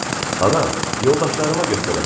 Ana, yoldaşlarıma göstərəcəm.